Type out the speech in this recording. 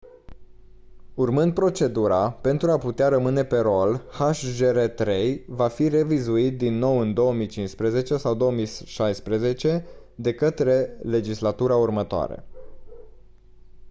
urmând procedura pentru a putea rămâne pe rol hjr-3 va fi revizuit din nou în 2015 sau 2016 de către legislatura următoare